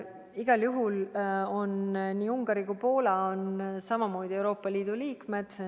Igal juhul on nii Ungari kui ka Poola samamoodi Euroopa Liidu liikmed.